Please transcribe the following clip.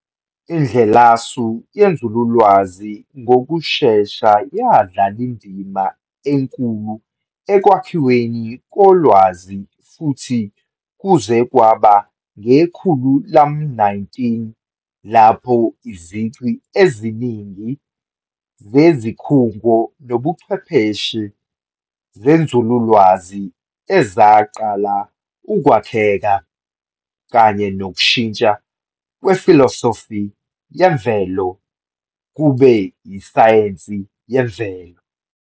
Indlela-su yenzululwazi ngokushesha yadlala indima enkulu ekwakhiweni kolwazi futhi kuze kwaba ngekhulu lam-19 lapho izici eziningi zezikhungo nokucwephesha zenzululwazi ezaqala ukwakheka, kanye nokushintshwa "kwefilosofi yemvelo" kube isayensi yemvelo.